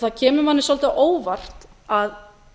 það kemur manni svolítið á óvart að